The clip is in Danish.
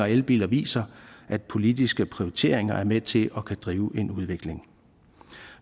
elbiler viser at politiske prioriteringer er med til at drive en udvikling